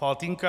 Faltýnka.